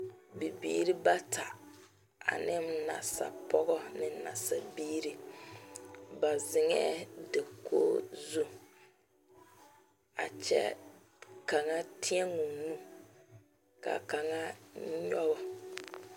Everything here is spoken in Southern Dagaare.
Bibiiri bata ane nasapɔɡɔ ane nasabiiri ba zeŋɛɛ dakoɡi zu a kyɛ kaŋ tēɛ o nu ka kaŋa nyɔɡe.